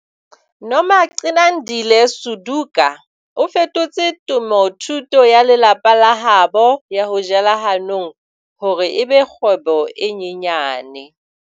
Nomagcinandile Suduka o fetotse temothuo ya lelapa la habo ya ho jela hanong hore e be kgwebo e nyenyane.